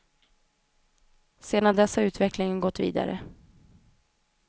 Sedan dess har utvecklingen gått vidare.